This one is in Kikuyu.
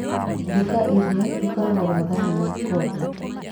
Nduka ĩrĩa ĩkoragwo na thani na ikombe